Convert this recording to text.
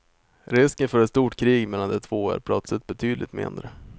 Risken för ett stort krig mellan de två är plötsligt betydligt mindre.